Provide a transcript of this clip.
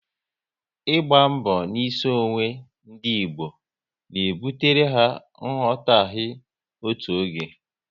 Ịgba mbọ n'isi onwe ndị Igbo na ebutere ha nghọtaghe otu oge